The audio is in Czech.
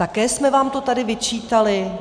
Také jsme vám to tady vyčítali?